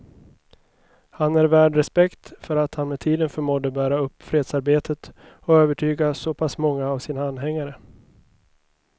Han är värd respekt för att han med tiden förmådde bära upp fredsarbetet och övertyga så pass många av sina anhängare.